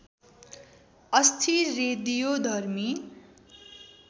अस्थिर रेडियोधर्मी